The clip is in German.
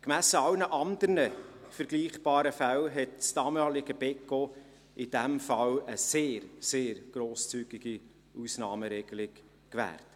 Im Vergleich zu allen anderen vergleichbaren Fällen hat das damalige Beco in diesem Fall eine sehr, sehr grosszügige Ausnahmeregelung gewährt.